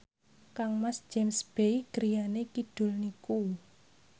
kangmas James Bay griyane kidul niku